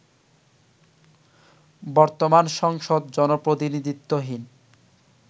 বর্তমান সংসদ জনপ্রতিনিধিত্বহীন